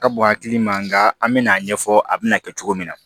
Ka bon hakili ma nga an bi n'a ɲɛfɔ a bɛna kɛ cogo min na